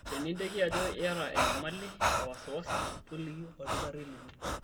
Teninteki ajo iyata enyamali e wasiwasi, toliki olkitarri lino.